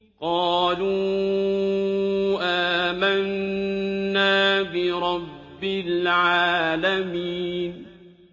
قَالُوا آمَنَّا بِرَبِّ الْعَالَمِينَ